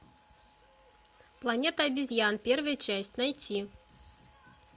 планета обезьян первая часть найти